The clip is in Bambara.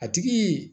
A tigi